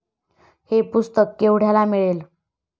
हे पुस्तक केवढ्याला मिळेल?